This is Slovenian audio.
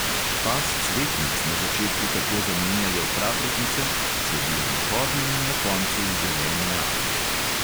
Pas cvetnic na začetku tako zamenjajo praprotnice, sledijo mahovi in na koncu zelene alge.